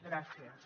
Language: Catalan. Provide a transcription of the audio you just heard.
gràcies